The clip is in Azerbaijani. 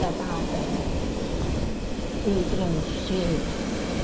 Belə daha öldürəm şey idi.